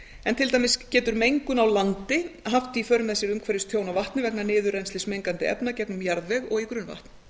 en til dæmis getur mengun á landi haft í för með sér umhverfistjón á vatni vegna niðurrennslis mengandi efna gegnum jarðveg og í grunnvatn